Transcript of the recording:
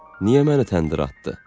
Niyə məni təndirə atdı?